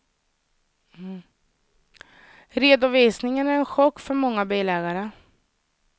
Redovisningen är en chock för många bilägare.